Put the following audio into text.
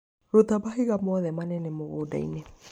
Ruta mahiga mothe manene mũgũnda-inĩ.